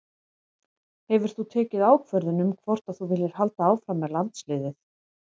Hefur þú tekið ákvörðun um hvort að þú viljir halda áfram með landsliðið?